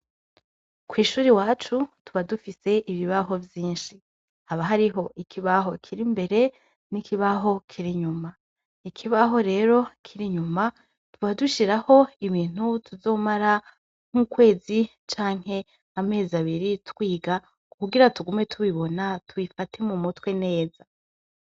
Kw'ishure iwacu tuba dufise ibibaho vyinshi, haba hariho ikibaho kir'imbere nikindi kibaho kir'inyuma ,ikibaho rero kir'inyuma tukaba dushiraho ibintu tuzomara nk'ukwezi, canke amezi abiri twiga kugira tugume tubibona tubifate mu mutwe neza.